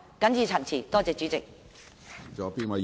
謹此陳辭，多謝主席。